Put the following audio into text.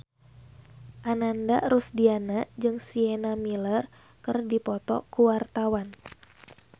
Ananda Rusdiana jeung Sienna Miller keur dipoto ku wartawan